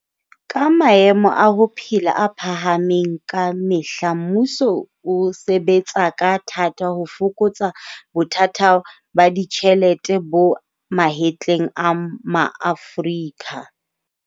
Ka maemo a ho phela a phahamang kamehla mmuso o sebetsa ka thata ho fokotsa bothata ba ditjhelete bo mahetleng a maAforika.